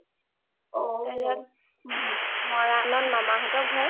তাৰ পিছত , মৰাণত মামা হ’তৰ ঘৰ